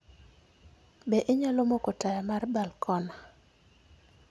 Be inyalo moko taya mar balkona?